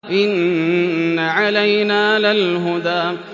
إِنَّ عَلَيْنَا لَلْهُدَىٰ